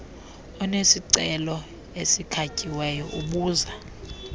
onesicelo esikhatyiweyo ubuza